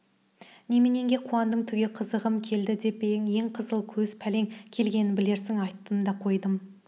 неменеңе қуандың түге қызығым келді деп пе ең қызыл көз пәлең келгенін білерсің айттым да қойдым